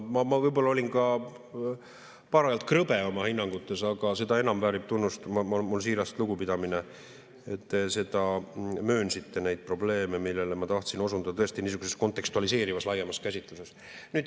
Ma võib-olla olin ka parajalt krõbe oma hinnangutes, aga seda enam väärib tunnustust – minu siiras lugupidamine –, et te möönsite neid probleeme, millele ma tahtsin osutada tõesti niisuguses kontekstualiseerivas laiemas käsitluses.